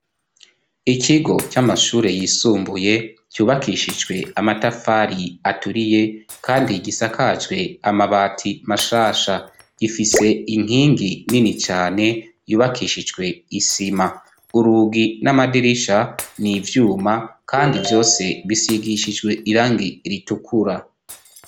Ikigo cy'amashure yisumbuye, cubakishijwe amatafari aturiye kandi gisakajwe amabati mashasha. Gifise inkingi nini cane yubakishijwe isima. Urugi n'amadirisha ni ivyuma kandi vyose bisigishijwe irangi ritukura.